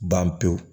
Ban pewu